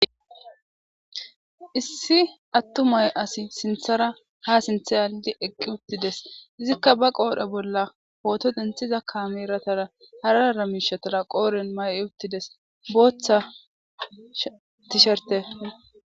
Issi attumay asi sinthara ha sinthe aaldi eqqi uttides izikka ba qoodhe bolla hooto denthiza kameratara haraara mishatara qooren may7i uttides booththa tisherte.